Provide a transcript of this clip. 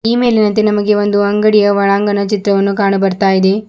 ಈ ಮೇಲಿನಂತೆ ನಮಗೆ ಒಂದು ಅಂಗಡಿಯ ಒಳಾಂಗಣ ಚಿತ್ರವನ್ನು ಕಾಣು ಬರ್ತಾ ಇದೆ.